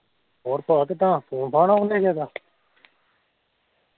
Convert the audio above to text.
ਹੋਰ ਪਾ ਕਿੱਦਾਂ ਫੋਨ ਫਾਨ ਆਉਣ ਦਿਆ ਕਿਸੇ ਦਾ